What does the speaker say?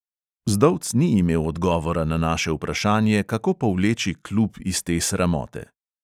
Zdovc ni imel odgovora na naše vprašanje, kako povleči klub iz te sramote.